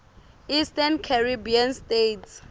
eastern caribbean states